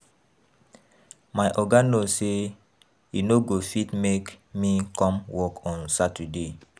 My Oga no say he no go fit make me come work on Saturday